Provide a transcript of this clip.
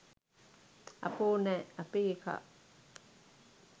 අපෝ නෑ අපේ එකා